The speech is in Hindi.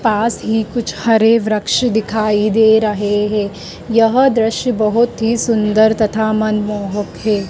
पास ही कुछ हरे वृक्ष दिखाई दे रहे है यह दृश्य बहुत ही सुंदर तथा मनमोहक है।